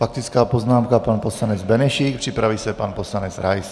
Faktická poznámka, pan poslanec Benešík, připraví se pan poslanec Rais.